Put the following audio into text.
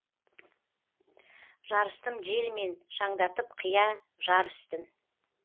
жарыстым желмен шаңдатып қия жар үстін